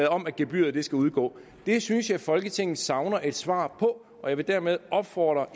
om at gebyret skal udgå det synes jeg folketinget savner et svar på og jeg vil dermed opfordre